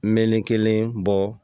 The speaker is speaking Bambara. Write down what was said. Melekelen bɔ